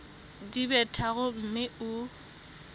di be tharo mme o